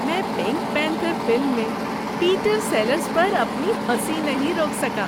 میں Pink Panther film میں Peter Sellers پر اپنی ہنسی نہیں روک سکا۔